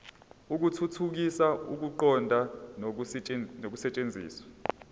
ukuthuthukisa ukuqonda nokusetshenziswa